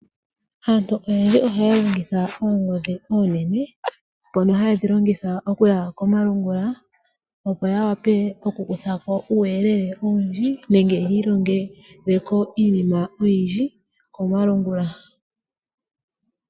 Aantu oyendji ohaya longitha oongodhi, uunene mbono ha ye dhi longitha okuya komalungula, opo ya wape okukuthako uuyelele owundji nenge yi ilongeleko iinima oyindji komalungula.